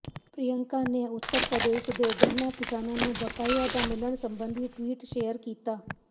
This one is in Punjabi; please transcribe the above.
ਪ੍ਰਿਅੰਕਾ ਨੇ ਉੱਤਰ ਪ੍ਰਦੇਸ਼ ਦੇ ਗੰਨਾ ਕਿਸਾਨਾਂ ਨੂੰ ਬਕਾਇਆ ਨਾ ਮਿਲਣ ਸਬੰਧੀ ਟਵੀਟ ਸ਼ੇਅਰ ਕੀਤਾ